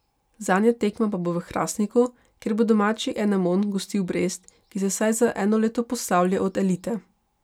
Zadnja tekma pa bo v Hrastniku, kjer bo domači Enemon gostil Brest, ki se vsaj za eno leto poslavlja od elite.